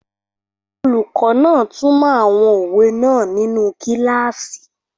Olùkọ́ náà túnmọ̀ àwọn òwe náà nínu kílásì